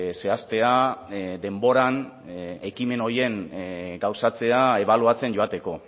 zehaztea denboran ekimen horien gauzatzea ebaluatzen joateko